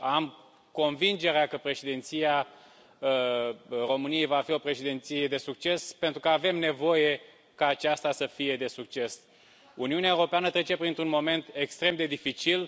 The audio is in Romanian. Am convingerea că Președinția României va fi o președinție de succes, pentru că avem nevoie ca aceasta să fie de succes. Uniunea Europeană trece printr un moment extrem de dificil.